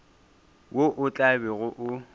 wo o tla bego o